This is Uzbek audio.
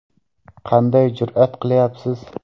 Qanday jur’at qilyapsiz?